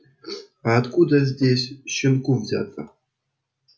а откуда здесь щенку взяться